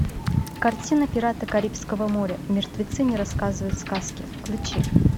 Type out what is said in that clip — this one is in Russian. картина пираты карибского моря мертвецы не рассказывают сказки включи